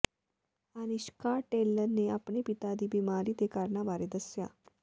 ਅਨਿਸ਼ਕਾ ਡੇਲਨ ਨੇ ਆਪਣੇ ਪਿਤਾ ਦੀ ਬੀਮਾਰੀ ਦੇ ਕਾਰਨਾਂ ਬਾਰੇ ਦੱਸਿਆ